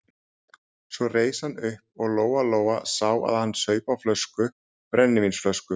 Svo reis hann upp og Lóa-Lóa sá að hann saup á flösku, brennivínsflösku.